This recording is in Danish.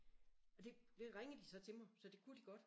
Og det det ringede de så til mig så det kunne de godt